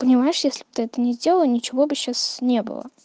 понимаешь если б ты это не сделал ничего бы сейчас не было